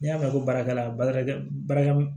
N'i y'a mɛn ko baarakɛla barakɛ barika